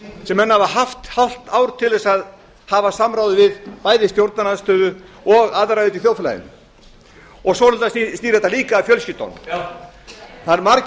sem menn hafa haft hálft ár til þess að hafa samráð við bæði stjórnarandstöðu og aðra hérna í þjóðfélaginu svo snýr þetta líka að fjölskyldunum það eru margir